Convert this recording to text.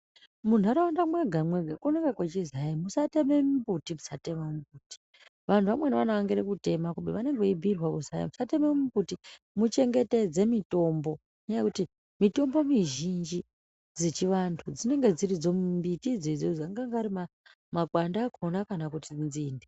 Mu ndaraunda mwega mwega kunenge muchinzi hai musa teme mu mbuti musa teme mu mbuti vanhu vamweni vano angira kutema kubeni vanenge vei bhuyirwa kuzi hai musa tema mu mbuti mu chengetedze mitombo ngenya yekuti mitombo mizhinji dzechi vantu dzinenge dziridzo mbiti idzodzo anganga ari makwande akona kana kuti nzinde.